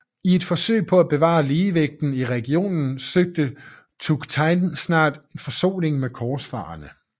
I et forsøg på at bevare ligevægten i regionen søgte Tughtekin snart forsoning med korsfarerne